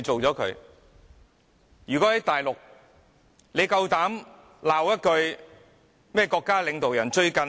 在內地，你膽敢罵國家領導人一句嗎？